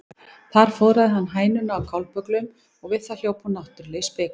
Þar fóðraði hann hænuna á kálbögglum og við það hljóp hún náttúrlega í spik.